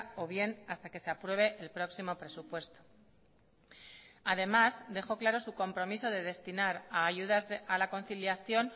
o bien hasta que se apruebe el próximo presupuesto además dejó claro su compromiso de destinar a ayudas a la conciliación